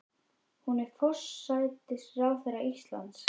Hún er forsætisráðherra Íslands.